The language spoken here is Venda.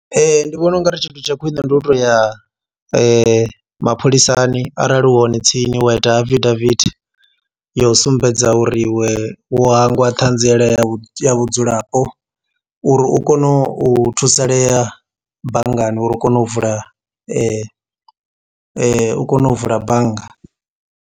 Ndi vhona ungari tshithu tsha khwine ndi u to ya mapholisani arali hu hone tsini wa ita afidavithi yo sumbedza uri iwe wo hangwa ṱhanziela vhudzulapo uri u kone u thusalea banngani uri u kone u vula u kone u vula bannga.